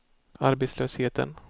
arbetslösheten